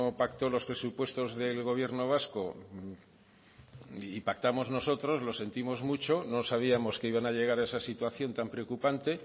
pactó los presupuestos del gobierno vasco y pactamos nosotros lo sentimos mucho no sabíamos que iban a llevar a esa situación tan preocupante